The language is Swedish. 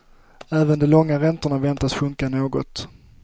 Även de långa räntorna väntas sjunka något.